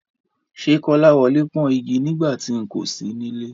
Ṣé Kọ́láwọlé pọ́n igi nígbà tí n kò sí nílé?